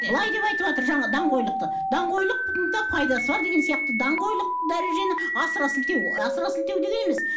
былай деп айтыватыр жаңа даңғойлықты даңғойлықтың да пайдасы бар деген сияқты даңғойлық дәрежені асыра сілтеу асыра сілтеу деген емес